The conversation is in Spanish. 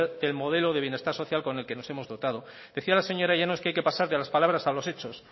del modelo de bienestar social con el que nos hemos dotado decía la señora llanos que hay que pasar de las palabras a los hechos